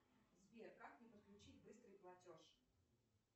сбер как мне подключить быстрый платеж